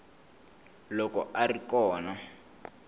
loko a a ri kona